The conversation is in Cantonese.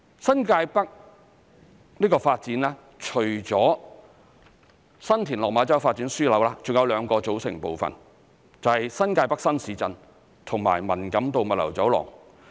新界北發展除了新田/落馬洲發展樞紐，還有兩個組成部分，便是新界北新市鎮及文錦渡物流走廊。